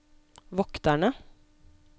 vokterne